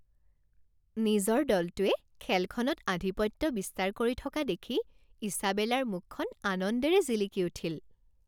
নিজৰ দলটোৱে খেলখনত আধিপত্য বিস্তাৰ কৰি থকা দেখি ইছাবেলাৰ মুখখন আনন্দেৰে জিলিকি উঠিল।